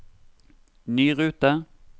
ny rute